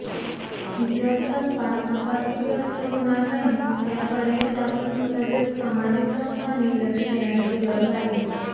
तीचं स्तनपान आपत्तीग्रस्त होणार नाही याकडे शासन तसेच सामाजीक संस्थानी लक्ष देण्याची गरज आहे